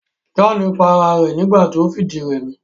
John pa ara rẹ̀ nígbà ti o fìdírẹmi